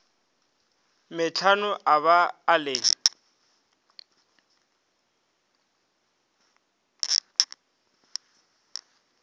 metlhano a ba a le